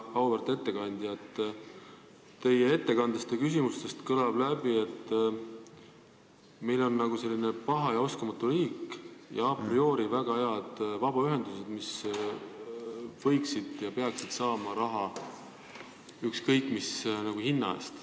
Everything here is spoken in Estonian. Väga auväärt ettekandja, teie ettekandest ja ka küsimustest kõlas läbi, et meil on paha ja oskamatu riik ning a priori väga head vabaühendused, mis peaksid saama raha ükskõik mis hinna eest.